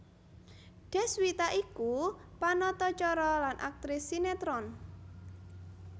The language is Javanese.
Deswita iku panata cara lan aktris sinetron